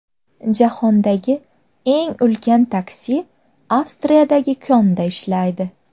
Jahondagi eng ulkan taksi Avstriyadagi konda ishlaydi.